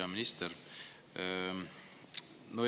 Hea minister!